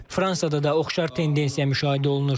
Fransada da oxşar tendensiya müşahidə olunur.